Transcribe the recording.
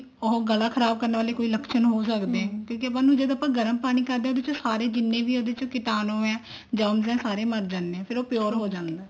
ਉਹ ਗਲਾ ਖਰਾਬ ਕਰਨ ਵਾਲੇ ਕੋਈ ਲੱਛਣ ਹੋ ਸਕਦੇ ਆ ਕਿਉਂਕਿ ਆਪਾਂ ਨੂੰ ਜਦੋਂ ਆਪਾਂ ਗਰਮ ਪਾਣੀ ਕਰਦੇ ਹਾਂਸਾਰੇ ਜਿੰਨੇ ਵੀ ਉਹਦੇ ਚ ਕੀਟਾਨੂੰ ਹੈ germs ਹੈ ਸਾਰੇ ਮਰ ਜਾਂਦੇ ਨੇ ਫ਼ੇਰ ਉਹ pure ਹੋ ਜਾਂਦਾ